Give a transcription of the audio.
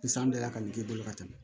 Ni san dala ka nin k'i bolo ka tɛmɛ